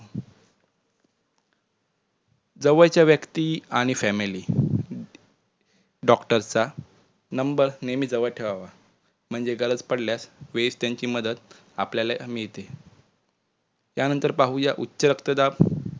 जवळच्या व्यक्ती आणि familydoctor चा number नेहमी जवळ ठेवावा म्हणजे गरज पडल्यास वेळेत त्यांची मदत आपल्याला मिळते. त्यानंतर पाहुया उच्च रक्तदाब